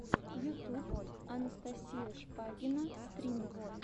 ютуб анастасия шпагина стрим